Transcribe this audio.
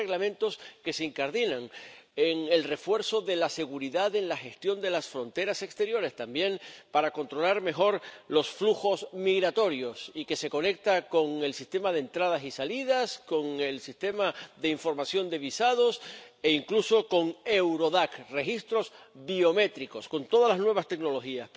Tres Reglamentos que se incardinan en el refuerzo de la seguridad en la gestión de las fronteras exteriores, también para controlar mejor los flujos migratorios, lo que se conecta con el sistema de entradas y salidas, con el sistema de información de visados, e incluso con Eurodac —registros biométricos, con todas las nuevas tecnologías—.